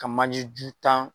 Ka manje ju tan